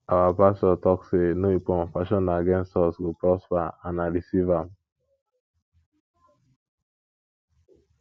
our pastor talk say no weapon fashioned against us go prosper and i receive am